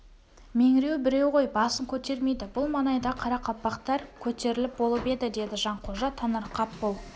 меңіреу біреу ғой басын көтермейді бұл маңайдағы қарақалпақтар көтеріліп болып еді деді жанқожа таңырқап бұл